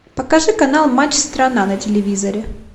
покажи канал матч страна на телевизоре